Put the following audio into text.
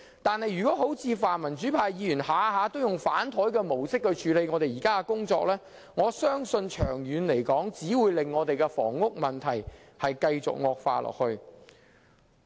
但是，如果像泛民主派議員般，動輒便以"反檯"的方式處理現時的工作，我相信長遠只會令房屋問題繼續惡化。